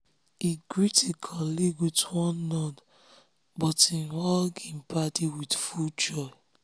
he greet him colleague with one nod but him hug him paddy with full joy.